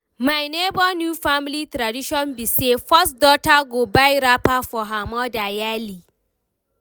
my nebor new family tradition be say, first daughter go buy wrapper for her mother yearly.